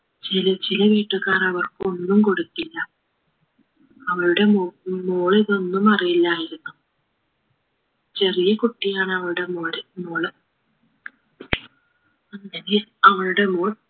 ചില ചില വീട്ടുകാർ അവർക്ക് ഒന്നും കൊടുത്തില്ല അവരുടെ മോ മോളിതൊന്നും അറിയില്ലായിരുന്നു ചെറിയ കുട്ടിയാണവരുടെ മോൾ മോള് അങ്ങനെ അവരുടെ മോൾ